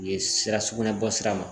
U ye sira sugunɛ bɔsira ma